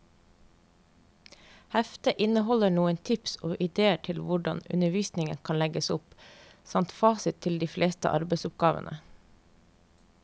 Heftet inneholder noen tips og idéer til hvordan undervisningen kan legges opp, samt fasit til de fleste arbeidsoppgavene.